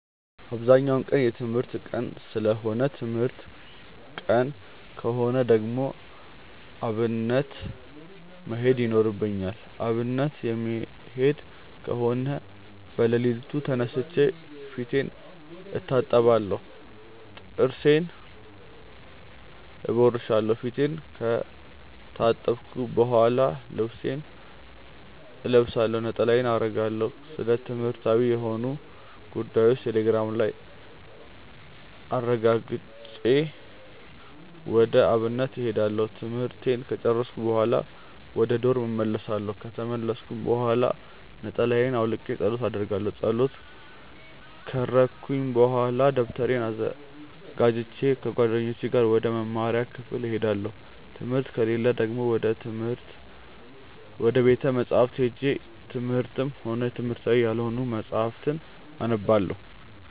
አብዛኛው ቀን የትምህርት ቀን ሰለሆነ ትምህርት ቀን ከሆነ ደግሞ አብነት መሄድ ይኖርብኛል። አብነት የምሄድ ከሆነ በለሊቱ ተነስቼ ፊቴን እታጠባለሁ ጥርሴን እቦርሻለው። ፊቴን ከታጠብኩ በሆላ ልብሴን እለብሳለሁ፣ ነጠላዬን አረጋለሁ፣ ስለትምህርትዊ የሆኑ ጉዳዮችን ቴሌግራም ላይ አረጋግጬ ወደ አብነት እሄዳለሁ። ትምህርቱን ከጨርስኩኝ በሆላ ወደ ዶርም እመልሳለው። ከተመለስኩኝ ብሆላ ነጠላየን አውልቄ ፀሎት አረጋለው። ፀሎት ከረኩኝ በሆላ ደብተሬን አዘጋጅቼ ከጓደኞቼ ጋር ወደ መምሪያ ክፍል እሄዳለው። ትምህርት ከሌለ ደግሞ ወደ ቤተ መፅሀፍት ሄጄ የትምህርትም ሆነ የትምህርታዊ ያልሆኑ መፅሀፍትን አነባለው።